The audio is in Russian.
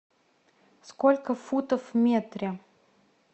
сколько футов в метре